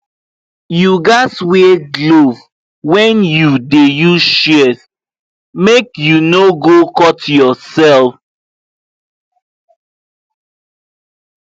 you gats wear glove when you dey use shears make you no go cut yourself